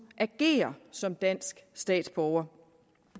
ageren som dansk statsborger